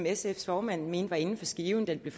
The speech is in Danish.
sfs formand mente var inden for skiven da det blev